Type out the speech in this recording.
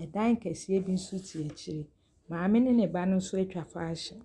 Ɛdan kɛseɛ bi nso si akyire. Maame ne ne ba no nso atwa fashion.